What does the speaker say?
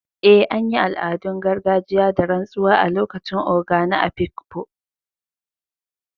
Eh, an yi al’adun gargajiya da rantsuwa a lokacin Ogo na Afikpo.